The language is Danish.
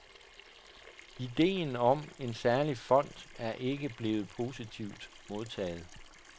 Idéen om en særlig fond er ikke blevet positivt modtaget.